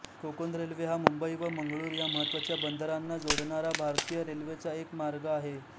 Konkan railway हा मुंबई व मंगळूर ह्या महत्त्वाच्या बंदरांना जोडणारा भारतीय रेल्वेचा एक मार्ग आहे